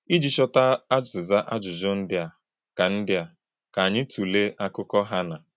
Iji chọta azịza ajụjụ ndị a, ka ndị a, ka anyị tụlee akụkọ Hannạ.